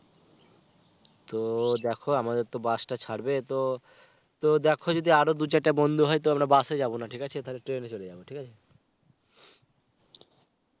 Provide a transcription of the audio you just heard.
তো দেখো আমাদের তো বাস টা ছাড়বে তো দেখো আর দু - চারটা বন্ধু হয় তাহলে আমরা বাস এ যাবনা. ঠিক আছে? তাহলে ট্রেন এ চলে যাবো. ঠিক আছে?